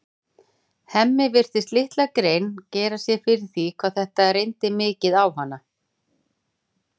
Hemmi virtist litla grein gera sér fyrir því hvað þetta reyndi mikið á hana.